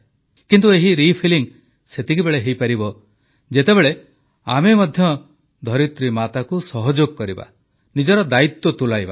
କିନ୍ତୁ ଏହି ରିଫିଲିଂ ସେତେବେଳେ ହୋଇପାରିବ ଯେତେବେଳେ ଆମେ ମଧ୍ୟ ଧରିତ୍ରୀ ମାତାକୁ ସହଯୋଗ କରିବା ନିଜର ଦାୟିତ୍ୱ ତୁଲାଇବା